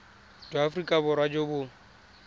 jwa aforika borwa jo bo